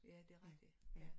Ja det rigtig ja